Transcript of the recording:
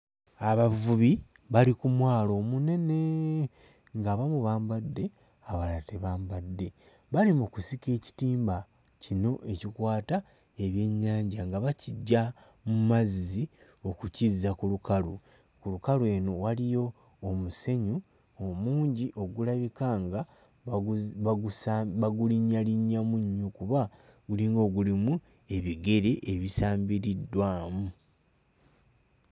Abavubi bali ku mwalo omunene ng'abamu bambadde abalala tebambadde. Bali mu kusika ekitimba kino ekikwata ebyennyanja nga bakiggya mu mazzi okukizza ku lukalu. Ku lukalu eno waliyo omusenyu omungi ogulabika nga baguzi bagusa bagulinnyalinnyamu nnyo kuba gulinga ogulimu ebigere ebisambiriddwamu.